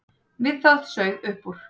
Við það sauð upp úr.